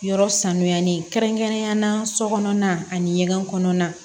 Yɔrɔ sanuyali kɛrɛnkɛrɛnnen na sokɔnɔna ani ɲɛgɛn kɔnɔna